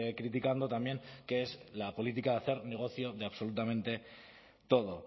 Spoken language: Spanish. criticando también que es la política de hacer negocio de absolutamente todo